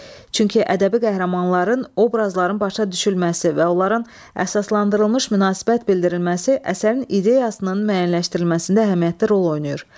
Çünki ədəbi qəhrəmanların obrazların başa düşülməsi və onların əsaslandırılmış münasibət bildirilməsi əsərin ideyasının müəyyənləşdirilməsində əhəmiyyətli rol oynayır.